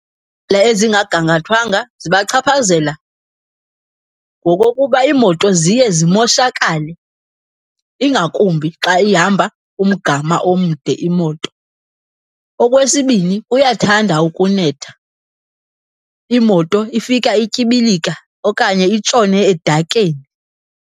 ezingagangathwanga zibachaphazela ngokokuba iimoto ziye zimoshakale, ingakumbi xa ihamba umgama omde imoto. Okwesibini, kuyathanda ukunetha, imoto ifika ityibilika okanye itshone edakeni.